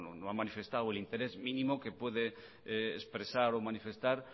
no ha manifestado el interés mínimo que puede expresar o manifestar